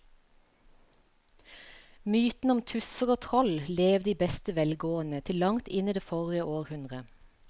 Mytene om tusser og troll levde i beste velgående til langt inn i forrige århundre.